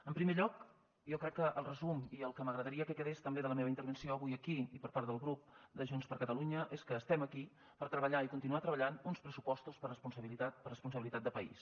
en primer lloc jo crec que el resum i el que m’agradaria que quedés també de la meva intervenció avui aquí i per part del grup de junts per catalunya és que estem aquí per treballar i continuar treballant uns pressupostos per responsabilitat per responsabilitat de país